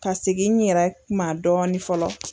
Ka segin n yɛrɛ ma dɔɔnin fɔlɔ.